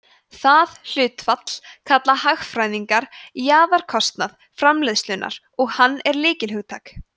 það hlutfall kalla hagfræðingar jaðarkostnað framleiðslunnar og hann er lykilhugtak